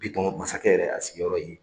Bitɔn masakɛ yɛrɛ , a sigiyɔrɔ ye nin ye.